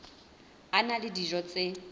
a na le dijo tse